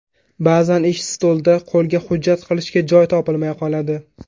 Ba’zan ish stolida qo‘lda hujjat qilishga joy topilmay qoladi.